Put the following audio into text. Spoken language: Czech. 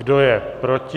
Kdo je proti?